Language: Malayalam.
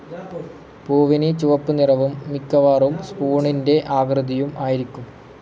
പൂവിന് ചുവപ്പ് നിറവും മിക്കവാറും സ്പൂണിന്റെ ആകൃതിയും ആയിരിക്കും.